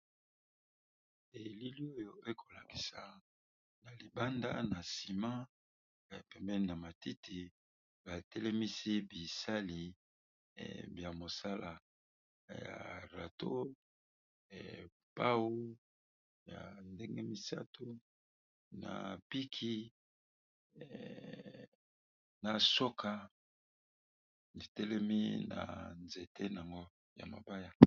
Elili oyo ekolabisa na libanda na nsima pemene na matiti batelemisi bisali ya mosala ya rato pau ya ndenge misato na piki na soka itelemi na nzete o ya mabaya.